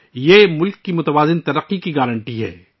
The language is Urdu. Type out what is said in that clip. یہی ملک کی متوازن ترقی کی ضمانت ہے